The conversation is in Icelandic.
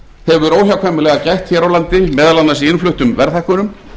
hefur óhjákvæmilega gætt hér á landi meðal annars í innfluttum verðhækkunum